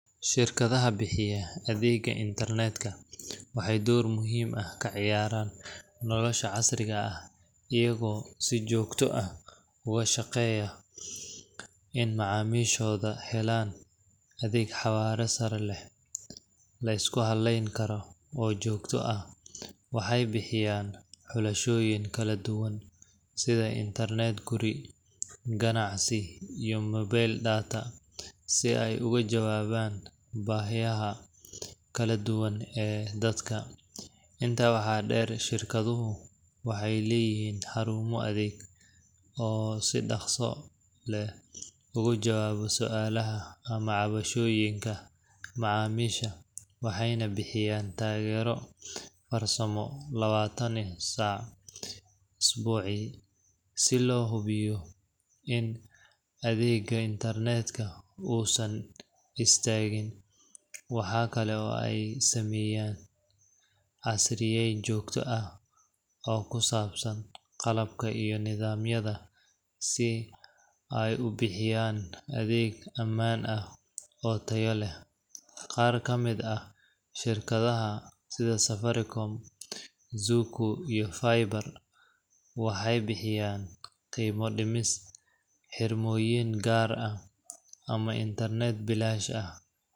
Shirkadaha bixiya adeegga internet ka waxay door muhiim ah ka ciyaaraan nolosha casriga ah, iyagoo si joogto ah uga shaqeeya in macaamiishooda helaan adeeg xawaare sare leh, la isku halleyn karo, oo joogto ah. Waxay bixiyaan xulashooyin kala duwan sida internet guri, ganacsi, iyo mobile data, si ay uga jawaabaan baahiyaha kala duwan ee dadka. Intaa waxaa dheer, shirkaduhu waxay leeyihiin xarumo adeeg oo si dhakhso leh uga jawaaba su’aalaha ama cabashooyinka macaamiisha, waxayna bixiyaan taageero farsamo lawatan iyo affar saac isbucii si loo hubiyo in adeegga internet-ka uusan istaagin. Waxa kale oo ay sameeyaan casriyeyn joogto ah oo ku saabsan qalabka iyo nidaamyada si ay u bixiyaan adeeg ammaan ah oo tayo leh. Qaar ka mid ah shirkadaha, sida Safaricom, Zuku, iyo Faiba, waxay bixiyaan qiimo dhimis, xirmooyin gaar ah, ama internet bilaash ah.